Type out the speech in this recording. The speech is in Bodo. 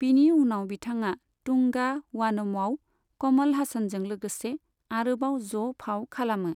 बिनि उनाव बिथाङा तुंगा वानमआव कमल हासानजों लोगोसे आरोबाव ज' फाव खालामो।